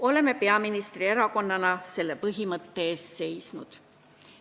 Oleme peaministri erakonnana selle põhimõtte eest seisnud.